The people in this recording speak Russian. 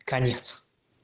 конец